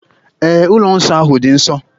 Ee, ụlọ nsọ ahụ dị nsọ